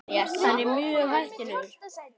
Hann er mjög hættulegur.